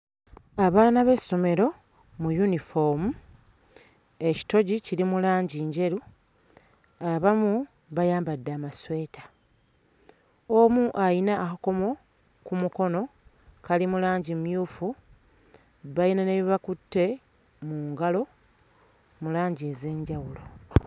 Abaana b'essomero mu yunifoomu, ekitogi kiri mu langi njeru, abamu bayambadde amasweta. Omu ayina akakomo ku mukono kali mu langi mmyufu, bayina ne bye bakutte mu ngalo mu langi ez'enjawulo.